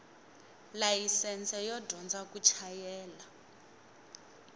layisense yo dyondza ku chayela